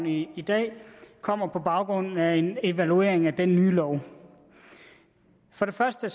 i i dag kommer på baggrund af en evaluering af den nye lov for det første